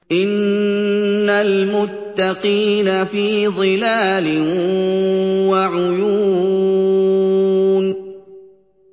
إِنَّ الْمُتَّقِينَ فِي ظِلَالٍ وَعُيُونٍ